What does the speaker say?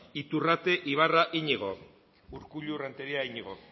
iturrate ibarra iñigo urkullu renteria iñigo